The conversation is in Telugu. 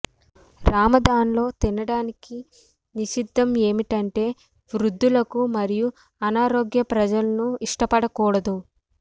రమదాన్లో తినడానికి నిషిద్ధం ఏమిటంటే వృద్ధులకు మరియు అనారోగ్య ప్రజలను ఇష్టపడకూడదు